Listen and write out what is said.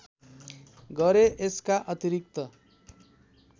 गरे यसका अतिरिक्त